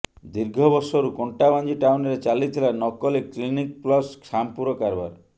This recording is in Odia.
ଦୀର୍ଘ ବର୍ଷରୁ କଣ୍ଟାବାଂଜି ଟାଉନରେ ଚାଲିଥିଲା ନକଲି କ୍ଲିନିକ ପ୍ଲସ ସାମ୍ପୁର କାରବାର